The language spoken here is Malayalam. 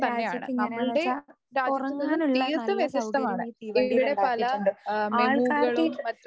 രാജ്യത്ത് എങ്ങനെയാന്ന് വെച്ചാ ഒറങ്ങാനുള്ള നല്ല സൗകര്യം ഈ തീവണ്ടിയിൽ ഉണ്ടാക്കിയിട്ടുണ്ട്. ആൾക്കാർക്കീ